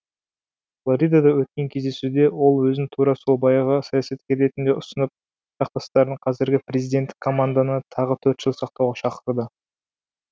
флоридада өткен кездесуде ол өзін тура сол баяғы саясаткер ретінде ұсынып жақтастарын қазіргі президенттік команданы тағы төрт жыл сақтауға шақырды